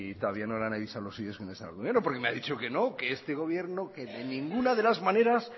todavía no le han avisado los suyos que no están en el gobierno porque me ha dicho que no que este gobierno que de ninguna de las maneras